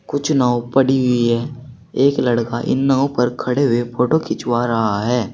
कुछ नाव पड़ी हुई है एक लड़का इन नावों पर खड़े हुए फोटो खिंचवा रहा है।